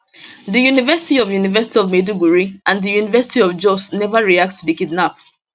di university of university of maiduguri and di university of jos neva react to di kidnap